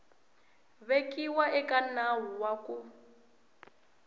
vekiwa eka nawu wa ku